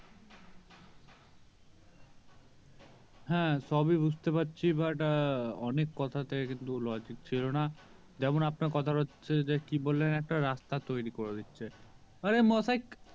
হ্যাঁ সবই বুঝতে পারছি but অনেক কথাতে কিন্তু logic ছিল না যেমন আপনার কথাটা হচ্ছে যে কি বললেন একটা একটা রাস্তা তৈরি করে দিচ্ছেন আরে মশাই